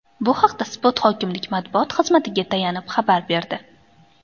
Bu haqda Spot hokimlik matbuot xizmatiga tayanib xabar berdi .